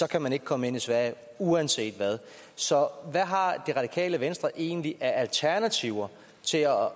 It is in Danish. kan man ikke komme ind i sverige uanset hvad så hvad har det radikale venstre egentlig af alternativer til at